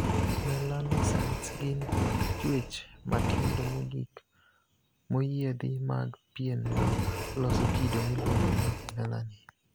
Melanocytes' gin chuech matindo mogik moyiedhi mag pien ma loso kido miluongo ni 'melanin'.